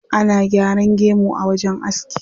Ana gyaran gemu a wajen aski.